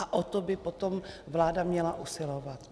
A o to by potom vláda měla usilovat.